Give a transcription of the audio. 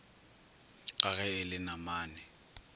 ka ge e le namane